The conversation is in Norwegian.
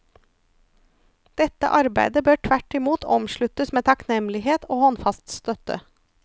Dette arbeidet bør tvertimot omsluttes med takknemlighet og håndfast støtte.